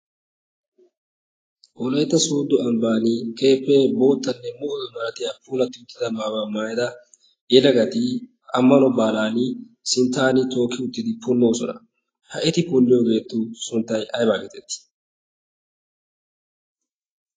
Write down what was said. pooleetta soudo ambban keeppee boottanne muudi maratiya puulatti uttida maawaa maayida yelagati ammalo baalan sinttaani tooki uttidi punnoosona. ha'eti punliyoogeettu sunttai aybaa geetettii?